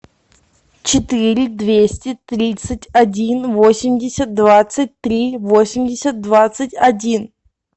четыре двести тридцать один восемьдесят двадцать три восемьдесят двадцать один